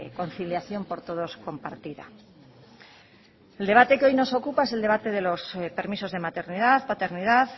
conciliación por todos compartida el debate que hoy nos ocupa es el debate de los permisos de maternidad paternidad